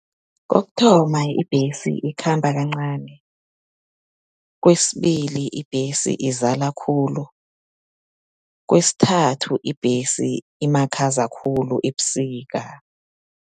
Kokuthoma ibhesi ikhamba kancani, kwesibili ibhesi izala khulu, kwesithathu ibhesi imakhaza khulu ebusika.